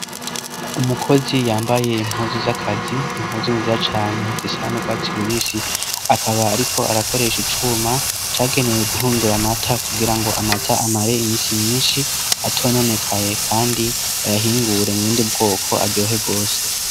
Umukozi yambaye impuzu z'akazi, impuzu nziza cane zisa n'urwatsi rubisi, akaba ariko arakoresha icuma cagenewe guhingura amata, kugira ngo amata amare imisi myinshi atononekaye kandi, bayahingure mu bundi bwoko aryohe rwose.